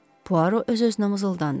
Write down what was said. Puaro öz-özünə mızıldandı.